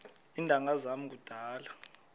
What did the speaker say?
iintanga zam kudala